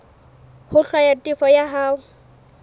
ho hlwaya tefo ya hao